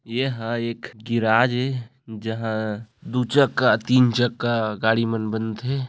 एहा एक गेराज ए जहां दू चक्का तीन चक्का गाड़ी मन बनथे।